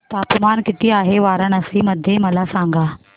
तापमान किती आहे वाराणसी मध्ये मला सांगा